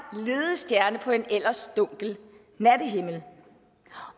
at på en ellers dunkel nattehimmel